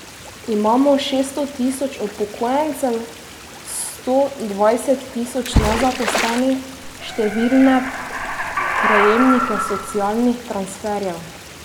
Imamo šeststo tisoč upokojencev, sto dvajset tisoč nezaposlenih, številne prejemnike socialnih transferjev.